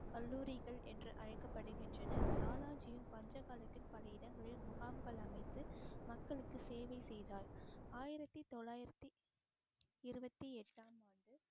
கல்லூரிகள் என்று அழைக்கப்படுகின்றன. லாலாஜியும் பஞ்ச காலத்தில் பல இடங்களில் முகாம்கள் அமைத்து மக்களுக்கு சேவை செய்தார் ஆயிரத்தி தொள்ளாயிரத்தி இருபத்தி எட்டாம் ஆண்டு